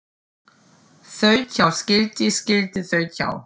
Þaut hjá skilti skilti þaut hjá